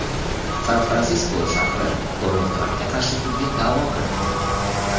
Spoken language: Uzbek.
San-Fransisko shahri Donald Trampga qarshi sudga da’vo kiritdi.